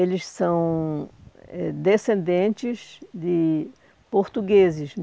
Eles são eh descendentes de portugueses.